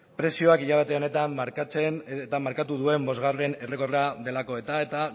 prezioa hilabete honetan markatzen eta markatu duen bosgarren errekorra delako eta eta